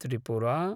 Tripura